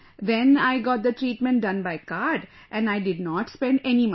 Then I got the treatment done by card, and I did not spend any money